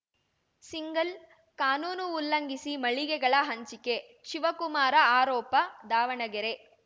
single ಕಾನೂನು ಉಲ್ಲಂಘಿಸಿ ಮಳಿಗೆಗಳ ಹಂಚಿಕೆ ಶಿವಕುಮಾರ ಆರೋಪ ದಾವಣಗೆರೆ